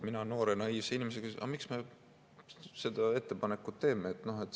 Mina noore naiivse inimesena: "Aga miks me selle ettepaneku teeme?